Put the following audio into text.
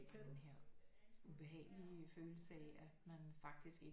Det er bare denne her ubehagelige følelse af at man faktisk ikke